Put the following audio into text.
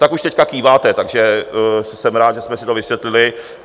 Tak už teď kýváte, takže jsem rád, že jsme si to vysvětlili.